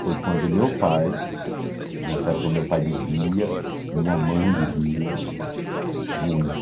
Foi quando meu pai, nessa época meu pai bebia, minha mãe bebia muito.